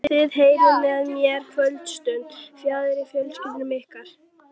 Þið eyðið með mér kvöldstund fjarri fjölskyldum ykkar.